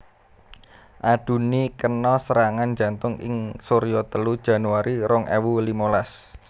Adunni kena serangan jantung ing surya telu Januari rong ewu limolas